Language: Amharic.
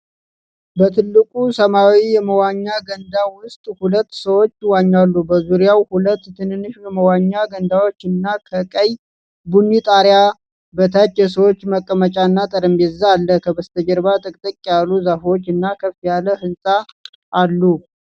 በትልቁ ሰማያዊ የመዋኛ ገንዳ ውስጥ ሁለት ሰዎች ይዋኛሉ። በዙሪያው ሁለት ትንንሽ የመዋኛ ገንዳዎችና ከቀይ-ቡኒ ጣራ በታች የሰዎች መቀመጫና ጠረጴዛ አለ። ከበስተጀርባ ጥቅጥቅ ያሉ ዛፎች እና ከፍ ያለ ሕንፃ አሉ።